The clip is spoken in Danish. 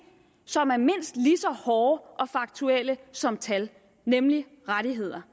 som er mindst lige så hårde og faktuelle som tal nemlig rettigheder